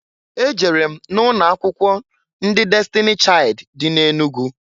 E jere m na ụnọ akwụkwọ ndị Destini Chaịd dị na Enugu.